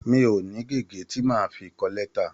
Mi ò ní gègé tí màá fi kọ lẹ́tà.